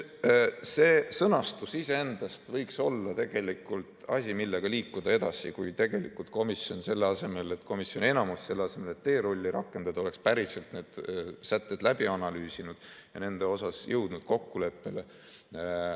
See sõnastus iseendast võiks olla asi, millega liikuda edasi, kui komisjoni enamus, selle asemel et teerulli rakendada, oleks päriselt need sätted läbi analüüsinud ja nendes jõudnud kokkuleppele.